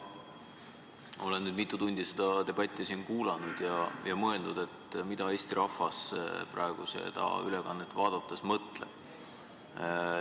Teate, ma olen nüüd mitu tundi seda debatti siin kuulanud ja mõeldud, mida Eesti rahvas praegu seda ülekannet vaadates võiks mõelda.